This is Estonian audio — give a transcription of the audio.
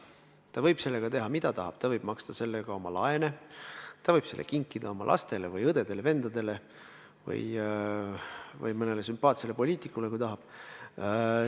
Ta võib sellega teha, mida tahab: ta võib maksta sellega oma laene, ta võib selle kinkida oma lastele või õdedele-vendadele või mõnele sümpaatsele poliitikule, kui tahab.